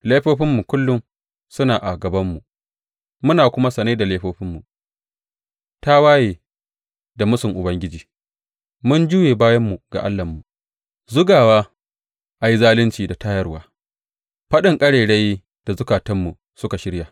Laifofinmu kullum suna a gabanmu, muna kuma sane da laifofinmu, tawaye da mūsun Ubangiji, mun juye bayanmu ga Allahnmu, zugawa a yi zalunci da tayarwa, faɗin ƙarairayi da zukatanmu suka shirya.